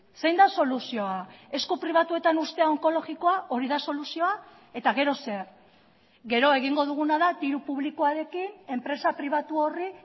zein da soluzioa esku pribatuetan uztea onkologikoa hori da soluzioa eta gero zer gero egingo duguna da diru publikoarekin enpresa pribatu horri